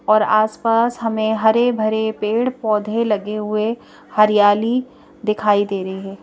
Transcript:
और आस पास हमें हरे भरे पेड़ पौधे लगे हुए हरियाली दिखाई दे रही है।